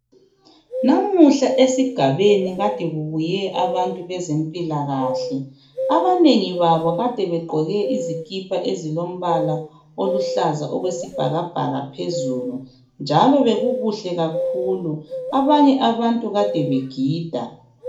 Namuhla esigabeni kade kubuye abantu bezempilakahle abanengi babo kade begqoke izikipa ezilombala oluhlaza okwesibhakabhaka phezulu njalo bekukuhle kakhulu. Abanye abantu kade begida.